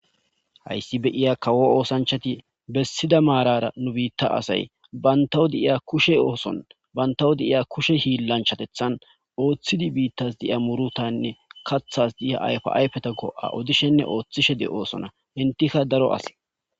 Hayssi beiya kawo oosanchati bessida maarara nu biitta asay bantawo deiya kushe ooson bantawo de iya kushe hiillanchatethan ooththidi biittas diiya murutanne kathas diiya ayfe ayfeta go'a odishenne ooththishe de oosona hintikka daro ase